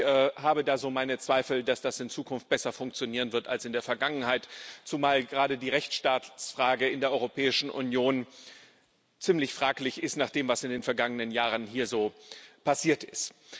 Ich habe da so meine Zweifel, dass das in der Zukunft besser funktionieren wird als in der Vergangenheit, zumal gerade die Rechtsstaatsfrage in der Europäischen Union ziemlich fraglich ist, nach dem, was in den vergangenen Jahren hier so passiert ist.